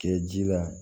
Kɛ ji la